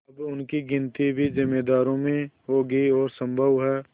अब इनकी गिनती भी जमींदारों में होगी और सम्भव है